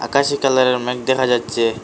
আকাশী কালারের মেঘ দেখা যাচ্চে ।